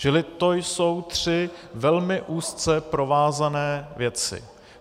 Čili to jsou tři velmi úzce provázané věci.